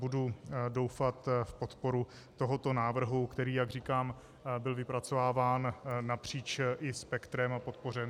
Budu doufat v podporu tohoto návrhu, který, jak říkám, byl vypracováván napříč spektrem a podpořen.